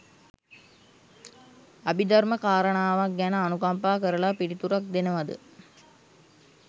අභි ධර්ම කාරණාවක් ගැන අනුකම්පා කරලා පිළිතුරක් දෙනවද?